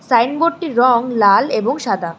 সাইনবোর্ডটির রং লাল এবং সাদা।